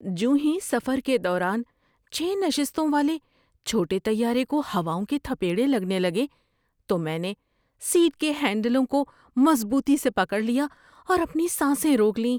جوں ہی سفر کے دوران چھے نشستوں والے چھوٹے طیارے کو ہواؤں کے تھپیڑے لگنے لگے تو میں نے سیٹ کے ہینڈلوں کو مضبوطی سے پکڑ لیا اور اپنی سانسیں روک لیں